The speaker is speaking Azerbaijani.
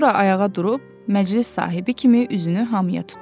Sonra ayağa durub məclis sahibi kimi üzünü hamıya tutdu.